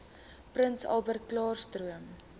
prins albertklaarstroom